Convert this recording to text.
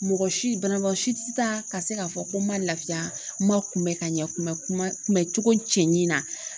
Mɔgɔ si banabagatɔ si tɛ taa ka se k'a fɔ ko n ma lafiya n ma kunbɛ ka ɲɛ kun bɛ kuma kunbɛn cogo cɛɲi na